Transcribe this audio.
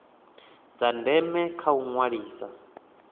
dza ndeme kha u ṅwalisa